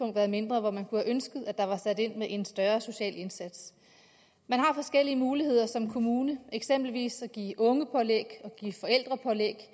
har været mindre hvor man kunne have ønsket at der var sat ind med en større social indsats man har forskellige muligheder som kommune eksempelvis for at give ungepålæg og give forældrepålæg